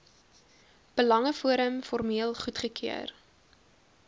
belangeforum formeel goedgekeur